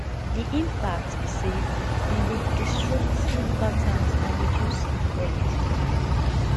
di impact be say dem dey disrupt sleep patterns and reduce sleep quality